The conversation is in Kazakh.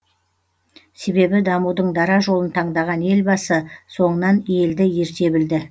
себебі дамудың дара жолын таңдаған елбасы соңынан елді ерте білді